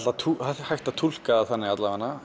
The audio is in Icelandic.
hægt að túlka það þannig